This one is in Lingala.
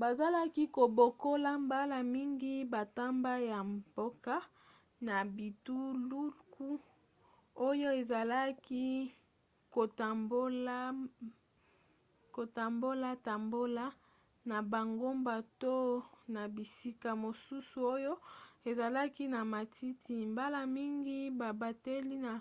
bazalaki kobokola mbala mingi bantaba ya mboka na bituluku oyo ezalaki kotambolatambola na bangomba to na bisika mosusu oyo ezalaki na matiti mbala mingi babateli na